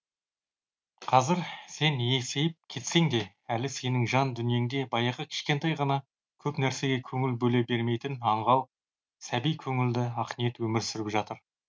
қазір сен есейіп кетсең де әлі сенің жан дүниеңде баяғы кішкентай ғана көп нәрсеге көңіл бөле бермейтін аңғал сәби көңілді ақниет өмір сүріп жатыр